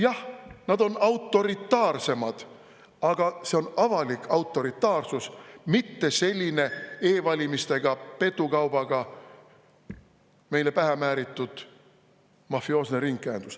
Jah, nad on autoritaarsemad, aga see on avalik autoritaarsus, mitte selline e-valimistega, petukaubaga meile pähe määritud mafioosne ringkäendus.